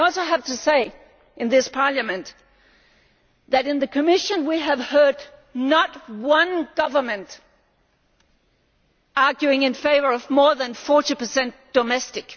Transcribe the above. I also have to say in this Parliament that in the Commission we have not heard one government arguing in favour of more than 40 domestic.